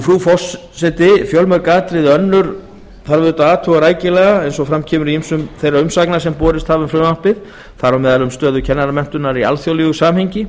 frú forseti fjölmörg atriði önnur þarf að athuga rækilega eins og fram kemur í ýmsum þeim umsögnum sem borist hafa um frumvarpið þar á meðal um stöðu kennaramenntunar í alþjóðlegu samhengi